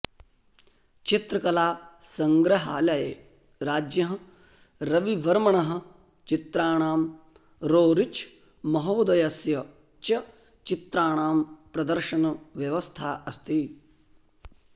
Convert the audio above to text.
चित्रकलासङ्ग्रहालये राज्ञः रविवर्मणः चित्राणां रोरिच् महोदयस्य च चित्राणां प्रदर्शनव्यवस्था अस्ति